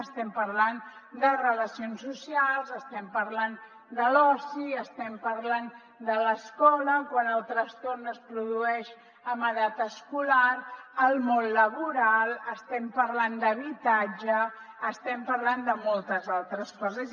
estem parlant de relacions socials estem parlant de l’oci estem parlant de l’escola quan el trastorn es produeix en edat escolar al món laboral estem parlant d’habitatge estem parlant de moltes altres coses